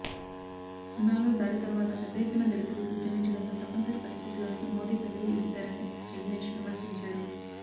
ఉనాలో దాడి తరువాత పెద్దఎత్తున దళితులు ఉద్యమించడంతో తప్పనిసరి పరిస్థితిలోనే మోదీ పెదవి విప్పారని జగ్నేష్ విమర్శించారు